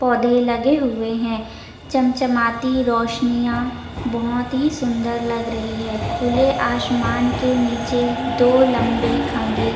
पौधे लगे हुए है चमचमाती रोशनियाँ बोहोत ही सुन्दर लग रही है खुले आसमान के निचे दो लम्बे खं--